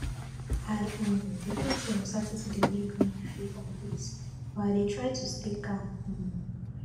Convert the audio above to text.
i um dey think say uncertainty dey make me feel uneasy but i dey try to stay calm um